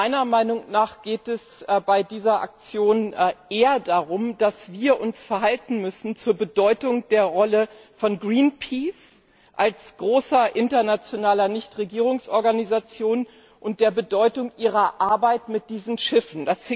Meiner Meinung nach geht es bei dieser Aktion eher darum, wie wir uns verhalten müssen zur Bedeutung der Rolle von Greenpeace als großer internationaler Nichtregierungsorganisation und zu der Bedeutung seiner Arbeit mit diesen Schiffen.